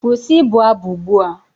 Kwụsị ịbụ abụ ugbu a!